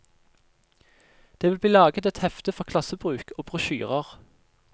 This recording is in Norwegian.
Det vil bli laget et hefte for klassebruk og brosjyrer.